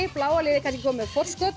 bláa liðið kannski komið með forskot